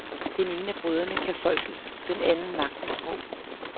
Den ene af brødrene kan folkets, den anden magtens sprog.